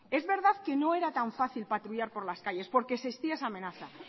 es verdad que no era tan fácil patrullar por las calles porque existía esa amenaza